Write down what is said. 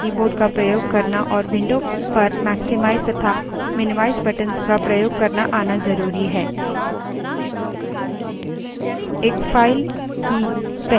इस भाग के लिए आपको mouse तथा keyboard का प्रयोग करना और window पर maximize तथा minimize buttons का प्रयोग करना आना ज़रुरी है